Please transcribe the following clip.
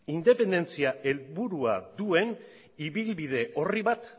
independentzia helburua duen ibilbide orri bat